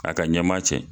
A ka ɲɛma cɛ